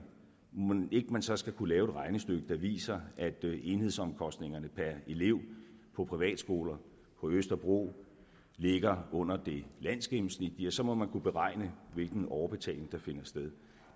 er mon så skulle kunne lave et regnestykke der viser at enhedsomkostningerne per elev på privatskoler på østerbro ligger under det landsgennemsnitlige og så må man kunne beregne hvilken overbetaling der finder sted